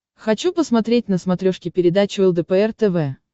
хочу посмотреть на смотрешке передачу лдпр тв